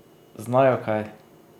Znajo kaj?